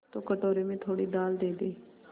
तो कटोरे में थोड़ी दाल दे दे